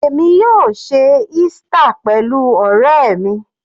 Èmi yóò ṣe Easter pẹ̀lú ọ̀rẹ́ mi.